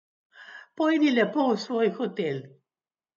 Pojdi lepo v svoj hotel.